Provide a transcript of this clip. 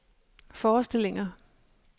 forestillinger